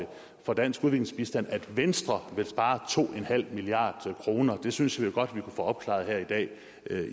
for dansk udviklingsbistand at venstre vil spare to en halv milliard kroner det synes vi godt vi kunne få opklaret her i dag